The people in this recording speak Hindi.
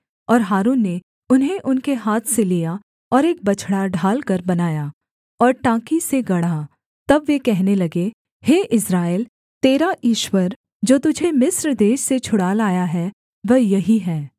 और हारून ने उन्हें उनके हाथ से लिया और एक बछड़ा ढालकर बनाया और टाँकी से गढ़ा तब वे कहने लगे हे इस्राएल तेरा ईश्वर जो तुझे मिस्र देश से छुड़ा लाया है वह यही है